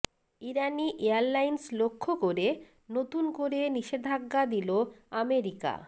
ইরানি airlines লক্ষ্য করে নতুন করে নিষেধাজ্ঞা দিল আমেরিকা